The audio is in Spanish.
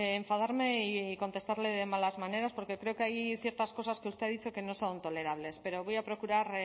enfadarme y contestarle de malas maneras porque creo que hay ciertas cosas que usted ha dicho que no son tolerables pero voy a procurar